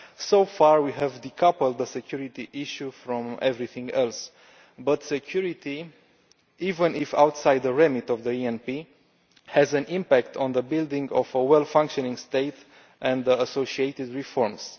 So far we have decoupled the security issue from everything else, but security even if outside the remit of the ENP has an impact on the building of a well functioning state and associated reforms.